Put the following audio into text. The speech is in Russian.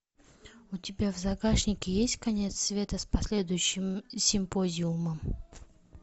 у тебя в загашнике есть конец света с последующим симпозиумом